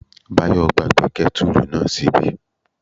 Báyọ̀ gbàgbé kẹ́tùrù náà ṣíbí